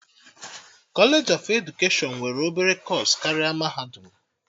Kọlej of edukeshọn nwere obere kọọsụ karịa mahadum